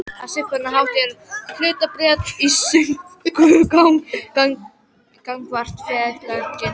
Á svipaðan hátt eru hlutabréf sönnunargagn gagnvart félaginu.